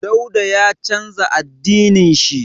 Dauda ya canza addinin shi.